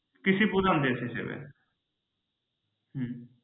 কৃষিপ্রধান দেশ হিসেবে হম